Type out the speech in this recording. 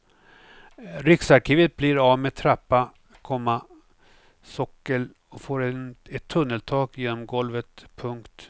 Riksarkivet blir av med trappa, komma sockel och får ett tunneltak genom golvet. punkt